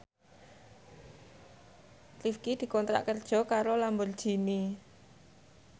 Rifqi dikontrak kerja karo Lamborghini